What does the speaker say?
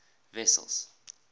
wessels